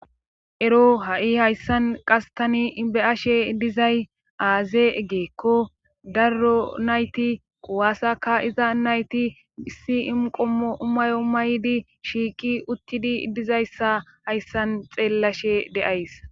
Ero ha7i hayssan qase tani be7ashe dizay aaze eggeekko darro nayti quwaasaka iza nayti issi imqommo umayo umaydi shiiqi uttidi dizayssa hayssan xeellashe de7ays.